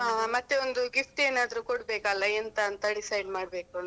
ಹಾ ಮತ್ತೆ ಒಂದು gift ಏನಾದ್ರು ಕೊಡ್ಬೇಕಲ್ಲ ಎಂತ ಅಂತ decide ಮಾಡ್ಬೇಕು.